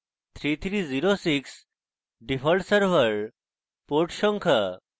3306 default server port সংখ্যা